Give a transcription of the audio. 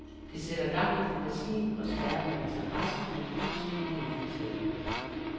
Det sætter gang i fantasien og skærper interessen for kunst i det hele taget.